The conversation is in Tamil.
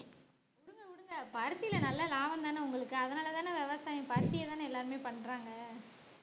வுடுங்க வுடுங்க பருத்தில நல்ல லாபம்தானே உங்களுக்கு அதனாலேதானே விவசாயம் பருத்தி தானே எல்லாருமே பண்றாங்க